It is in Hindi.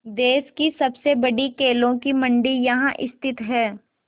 देश की सबसे बड़ी केलों की मंडी यहाँ स्थित है